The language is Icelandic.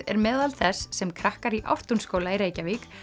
er meðal þess sem krakkar í Ártúnsskóla í Reykjavík